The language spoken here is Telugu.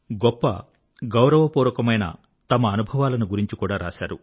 గొప్ప గౌరవపూర్వకమైన తమ అనుభవాలను గురించి కూడా రాశారు